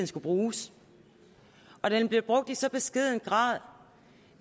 skulle bruges den bliver brugt i så beskeden grad